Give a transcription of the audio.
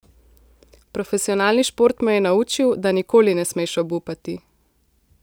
Profesionalni šport me je naučil, da nikoli ne smeš obupati.